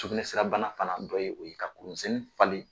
Sukunɛsira bana fana dɔ ye o ye , ka kuru misɛnnin falen